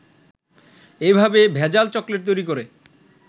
এভাবে ভেজাল চকলেট তৈরি করে